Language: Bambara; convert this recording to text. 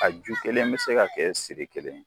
A ju kelen bɛ se ka kɛ siri kelen.